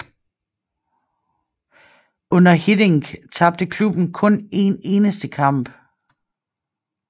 Under Hiddink tabte klubben kun én eneste kamp